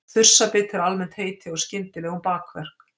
Þursabit er almennt heiti á skyndilegum bakverk.